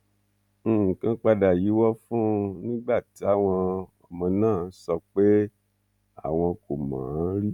nǹkan padà yíwọ fún un nígbà táwọn ọmọ náà sọ pé àwọn kò mọ ọn rí